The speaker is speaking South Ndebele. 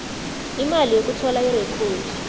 imali yokuthola irekhodi